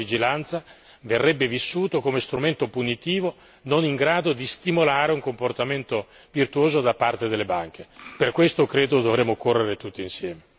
Se dovesse intercorrere troppo tempo, lo strumento della sola vigilanza verrebbe vissuto come strumento punitivo non in grado di stimolare un comportamento virtuoso da parte delle banche.